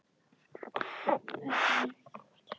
Hávaði utan af götunni berst inn um opinn gluggann.